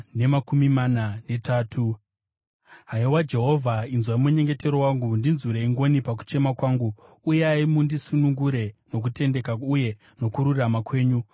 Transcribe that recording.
Haiwa Jehovha, inzwai munyengetero wangu, ndinzwirei ngoni pakuchema kwangu; uyai mundisunungure nokutendeka uye nokururama kwenyu.